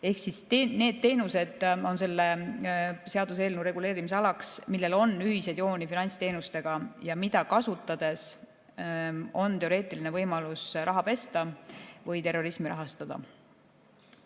Ehk need teenused on selle seaduseelnõu reguleerimisalaks, millel on ühiseid jooni finantsteenustega ja mida kasutades on teoreetiline võimalus raha pesta või terrorismi rahastada.